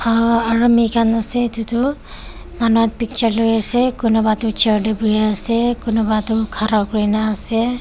aa army khan ase etu tu manu or picture loi ase kunba tu chair te bohe ase kunba tu khara kori na ase.